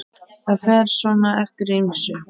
Það fer svona eftir ýmsu.